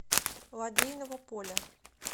лодейного поля